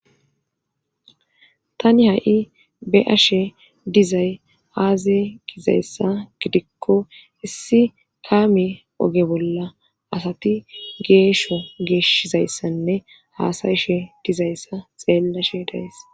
tani ha7i be7ashe dizay aaze gizayssa gidikko issi kaame oge bolla asati geesho geeshizayssanne haasayishe dizayssa xeella sheedays